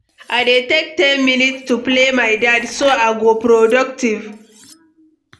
I dey take ten minutes to plan my day, so I go productive.